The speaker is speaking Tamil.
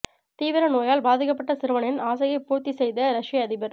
தீவிர நோயால் பாதிக்கப்பட்ட சிறுவனின் ஆசையை பூர்த்தி செய்த ரஷ்ய அதிபர்